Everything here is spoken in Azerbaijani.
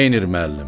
Neynir müəllim?